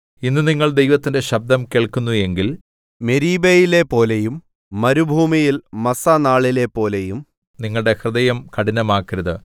ഇന്ന് നിങ്ങൾ ദൈവത്തിന്റെ ശബ്ദം കേൾക്കുന്നു എങ്കിൽ മെരീബ യിലെപ്പോലെയും മരുഭൂമിയിൽ മസ്സാ നാളിലെപ്പോലെയും നിങ്ങളുടെ ഹൃദയം കഠിനമാക്കരുത്